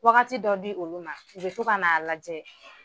Wagati dɔ di olu ma, u bɛ to ka na a lajɛ.